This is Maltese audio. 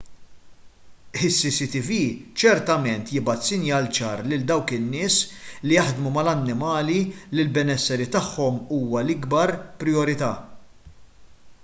is-cctv ċertament jibgħat sinjal ċar lil dawk in-nies li jaħdmu mal-annimali li l-benesseri tagħhom huwa l-ikbar prijorità